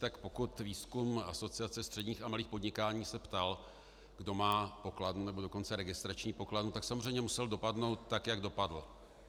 Tak pokud výzkum Asociace středních a malých podniků se ptal, kdo má pokladnu, nebo dokonce registrační pokladnu, tak samozřejmě musel dopadnout tak, jak dopadl.